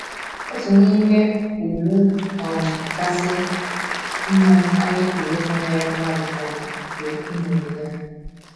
Otu n’ime ùgwù um kasị mma anyị pụrụ ịkwanyere mmadụ um bụ iṅomi ya.